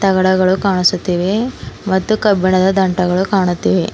ಎಲ್ಲ ಗಿಡಗಳು ಕಾಣಿಸುತ್ತವೆ ಮತ್ತು ಕಬ್ಬಿಣದ ದಂಟಗಳು ಕಾಣುತ್ತಿವೆ.